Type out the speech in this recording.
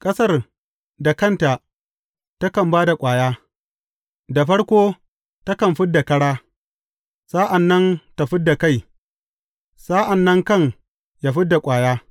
Ƙasar da kanta takan ba da ƙwaya, da farko takan fid da ƙara, sa’an nan ta fid da kai, sa’an nan kan yă fid da ƙwaya.